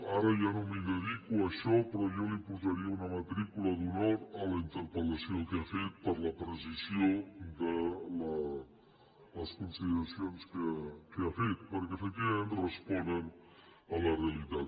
ara ja no m’hi dedico a això però jo li posaria una matrícula d’honor a la interpellació que ha fet per la precisió de les consideracions que ha fet perquè efectivament responen a la realitat